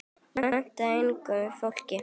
Og mennta unga fólkið.